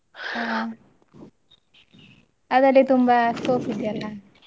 ಹ ಅದ್ರಲ್ಲಿ ತುಂಬ scope ಇದೆಯಲ್ಲ.